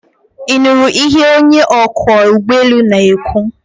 Ị nụrụ ihe onye ọkwọ ụgbọelu na-ekwu?